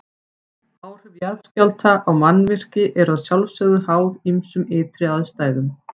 Áhrif jarðskjálfta á mannvirki eru að sjálfsögðu háð ýmsum ytri aðstæðum.